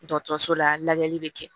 Dɔgɔtɔrɔso la lajɛli bɛ kɛ